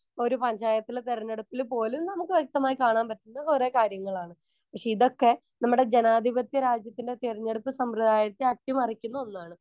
Speaker 1 ഒരു പഞ്ചായത്തിലെ തിരഞ്ഞെടുപ്പില് പോലും നമുക്ക് വ്യക്തമായി കാണാൻ പറ്റുന്ന കുറേ കാര്യങ്ങളാണ്. ഹിതൊക്കെ നമ്മുടെ ജനാധിപത്യ രാജ്യത്തിലെ തിരഞ്ഞെടുപ്പ് സമ്പ്രദായത്തെ അട്ടിമറിക്കുന്ന ഒന്നാണ്.